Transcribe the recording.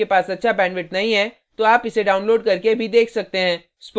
यदि आपके पास अच्छा bandwidth नहीं है तो आप इसे download करके भी देख सकते हैं